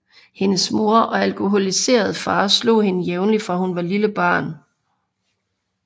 Hendes mor og alkoholiserede far slog hende jævnligt fra hun var et lille barn